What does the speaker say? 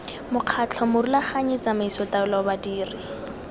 mokgatlho morulaganyi tsamaiso taolo badiri